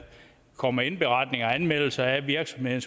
kommer indberetning og anmeldelse af en virksomhed